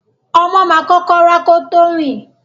Ọmọ ma kókó rà kò kọ tó rin.